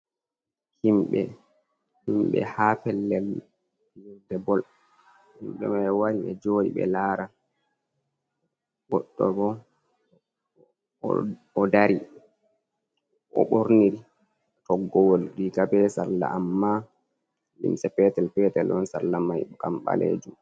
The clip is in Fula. Himɓe ha pellel yirde bol, himɓe ma wari ɓe joɗi ɓe lara, goɗɗo bo o dari o ɓorniri toggowol riga, be salla, amma limse petel petel on, salla mai kam ɓaleju